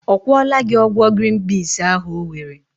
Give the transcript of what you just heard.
Ọ kwọla gi ọgwọ grin piz ahu owere?